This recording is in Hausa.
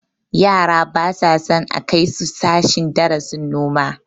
Yara ba sa son a kai su sashen darasin noma